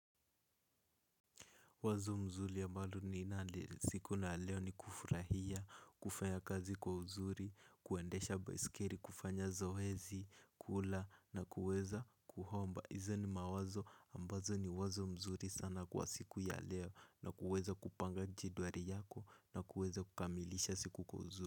Wazo mzuri ambalo ninalo siku ya leo ni kufurahia, kufanya kazi kwa uzuri, kuendesha baisikeli, kufanya zoezi, kula na kuweza kuomba. Hizo ni mawazo ambazo ni wazo mzuri sana kwa siku ya leo na kuweza kupanga jedwali yako na kuweza kukamilisha siku kwa uzuri.